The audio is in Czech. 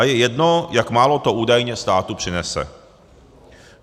A je jedno, jak málo to údajně státu přinese.